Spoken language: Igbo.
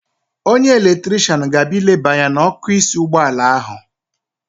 Onye eletrishian ga-abịa ileba anya n'ọ́kụ́ísí ụgbọala ahụ.